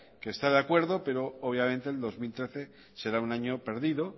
que está de acuerdo pero obviamente el dos mil trece será un año perdido